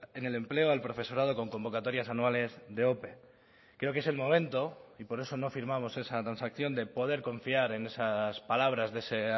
en el empleo al profesorado con convocatorias anuales de ope creo que es el momento y por eso no firmamos esa transacción de poder confiar en esas palabras de ese